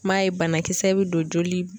N m'a ye banakisɛ bɛ don joli